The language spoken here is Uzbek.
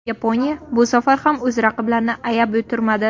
Yaponiya bu safar ham o‘z raqiblarini ayab o‘tirmadi.